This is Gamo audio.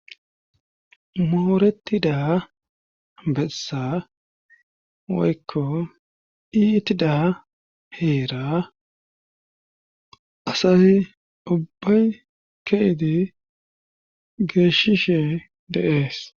moorettida bessa woykko iitida heera asayi ubbay keidi geeshishe deees